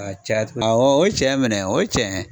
A caya awɔ o ye cɛn ye minɛ o ye cɛn ye.